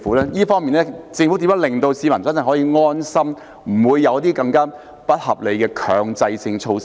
在這方面，政府如何令市民可以真正安心，不會有些更加不合理的強制性措施呢？